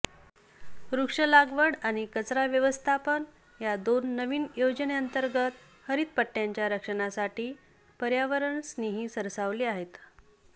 वृक्ष लागवड आणि कचरा व्यवस्थापन या दोन नवीन योजनेंतर्गत हरितपट्टय़ाच्या रक्षणासाठी पर्यावरणस्नेही सरसावले आहेत